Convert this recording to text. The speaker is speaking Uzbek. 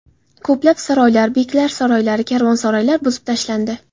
Ko‘plab saroylar, beklar saroylari, karvonsaroylar buzib tashlandi.